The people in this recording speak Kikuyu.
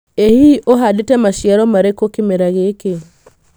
Ĩ hihi ũhandĩtĩ maciaro marĩkũ kĩmera gĩkĩ?